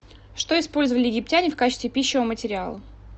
что использовали египтяне в качестве писчего материала